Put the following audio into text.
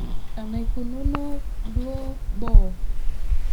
Enaikununo duoo boo.